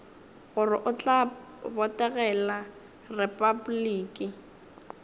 gore o tla botegela repabliki